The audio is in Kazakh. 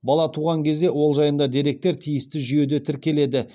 бала туған кезде ол жайында деректер тиісті жүйеде тіркеледі